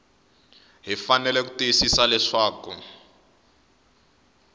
hi fanele ku tiyisisa leswaku